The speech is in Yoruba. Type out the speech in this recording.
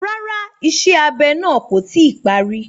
Rárá, Iṣẹ abe náà ko ti parí.